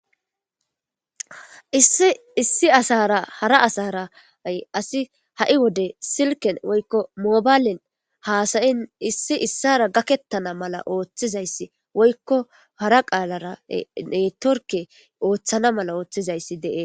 issi issi asara hara asaray asi ha7i wode silken woykko mobaylin haasayin issi issara gakettana mala ooththizayssi woykko hara qaalara netorke ooththana mala ooththizayssi dee